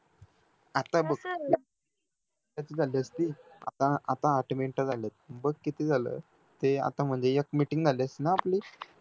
आता बघ कसा रे कस झाली असती, आता आता आठ मिनिटं झालेत, बघ किती झालं ते आता मध्ये एक meeting झाली असती ना आपली